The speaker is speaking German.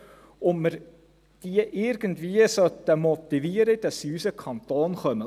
Wir sollten diese irgendwie motivieren, dass sie in unseren Kanton kommen.